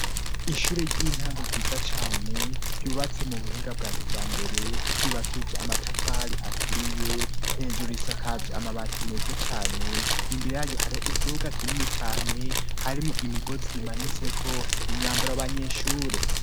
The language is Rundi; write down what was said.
Ishure ry'intango ryiza cyane ryubatse mu buhinga bwakira mbere ryubakije amatafari aturiye hejuru isakaje amabati meze cyane imbere ya gihariho ikibuga kinini cyane harimo imigozi imanise ko imyambara yabanyeshure.